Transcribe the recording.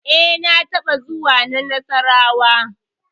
E, na taɓa zuwa na Nassarawa.